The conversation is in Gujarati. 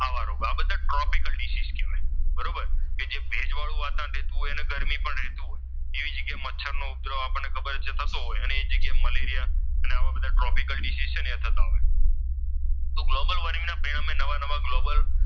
કે જ્યાં ભેજવાળુ વાતાવરણ રહેતું હોય અને ગરમી પણ રહેતી હોય એવી જગ્યાએ મચ્છર નો ઉપદ્રવ આપણને ખબર છે થતો હોય તેવી જગ્યાએ મલેરિયા ને આવા બધા ટ્રોપિકલ ડીસીઝ છે ને એ થતા હોય તો ગ્લોબલ વોર્મિંગ ના નામે નવા નવા ગ્લોબલ,